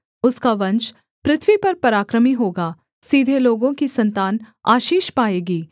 उसका वंश पृथ्वी पर पराक्रमी होगा सीधे लोगों की सन्तान आशीष पाएगी